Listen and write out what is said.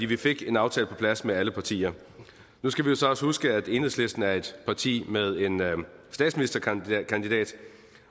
vi fik en aftale på plads med alle partier nu skal vi så også huske at enhedslisten er et parti med en statsministerkandidat